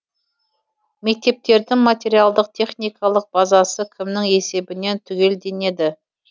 мектептердің материалдық техникалық базасы кімнің есебінен түгелденеді